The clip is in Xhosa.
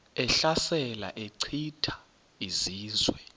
ehlasela echitha izizwe